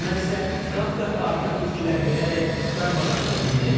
Düşmən isə qat-qat artıq itkilər verərək darmadağın edildi.